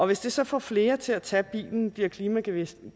hvis det så får flere til at tage bilen bliver klimagevinsten